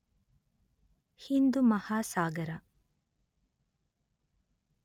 Hindu Mahasagara